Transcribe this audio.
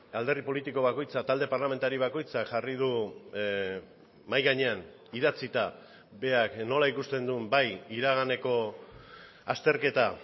alderdi politiko bakoitza talde parlamentari bakoitzak jarri du mahai gainean idatzita berak nola ikusten duen bai iraganeko azterketa